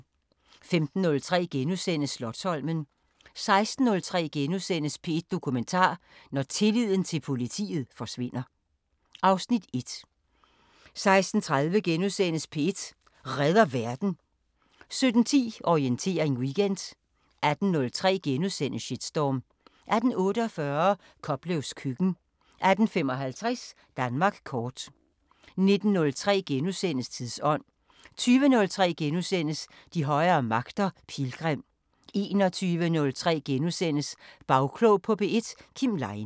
15:03: Slotsholmen * 16:03: P1 Dokumentar: Når tilliden til politiet forsvinder (Afs. 1)* 16:30: P1 Redder Verden * 17:10: Orientering Weekend 18:03: Shitstorm * 18:48: Koplevs køkken 18:55: Danmark Kort 19:03: Tidsånd * 20:03: De højere magter: Pilgrim * 21:03: Bagklog på P1: Kim Leine *